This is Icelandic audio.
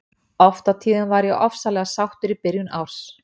Oft á tíðum var ég ofsalega sáttur í byrjun árs.